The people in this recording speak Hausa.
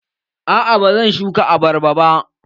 A'a, ba zan shuka abarba ba